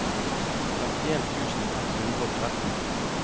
femtien tusen ett hundre og tretten